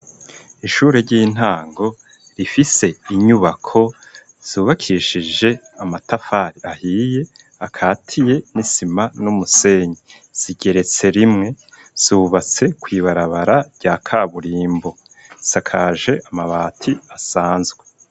Ishure ry'intango rifise inyubako zubakishije amatafari ahiye akatiye n'isima numusenyi, zigeretse rimwe zubatse kw’ibarabara rya kaburimbo isakaje amabati asanzwe.